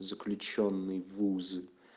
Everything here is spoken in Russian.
заключённый вуз